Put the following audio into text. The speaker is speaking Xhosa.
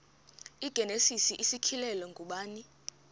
igenesis isityhilelo ngubani